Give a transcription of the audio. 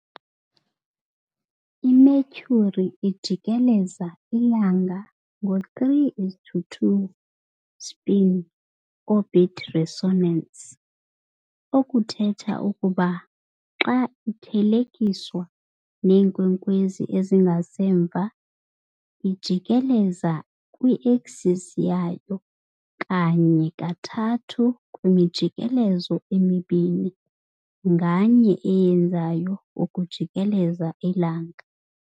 I-Mercury ijikeleza iLanga ngo-3:2 spin-orbit resonance, okuthetha ukuba xa ithelekiswa neenkwenkwezi ezingasemva, ijikeleza kwi-axis yayo kanye kathathu kwimijikelo emibini nganye eyenzayo ukujikeleza iLanga.